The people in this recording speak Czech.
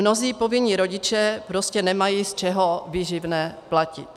Mnozí povinní rodiče prostě nemají z čeho výživné platit.